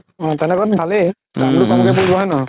অ তেনেক'ত ভালেই